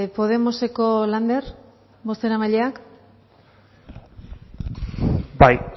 podemoseko lander bozeramaileak bai